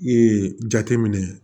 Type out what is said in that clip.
Ee jateminɛ